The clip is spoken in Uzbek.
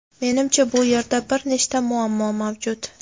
Menimcha bu yerda bir nechta muammo mavjud.